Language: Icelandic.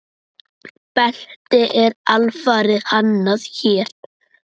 Beltið er alfarið hannað hér.